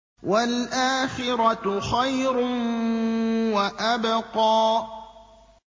وَالْآخِرَةُ خَيْرٌ وَأَبْقَىٰ